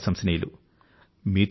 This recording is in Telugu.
అందుకనే మీరు ప్రశంసనీయులు